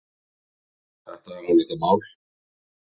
Þetta er álitamál.